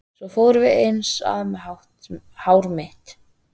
Svo fórum við eins að með hár mitt.